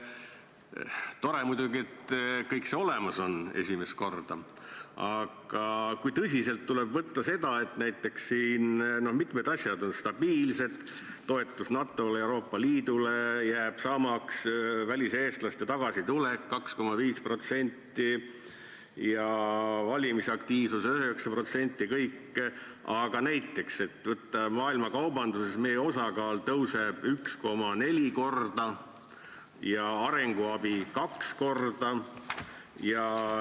Tore muidugi, et kõik see on olemas esimest korda, aga kui tõsiselt tuleb võtta seda, et siin küll mitmed asjad on stabiilsed – toetus NATO-le ja Euroopa Liidule jääb samaks, väliseestlaste tagasituleku näitaja on 2,5% ja valimisaktiivsus 9% – ent näiteks eeldus, et maailma kaubanduses meie osakaal tõuseb 1,4 korda ja arenguabi 2 korda?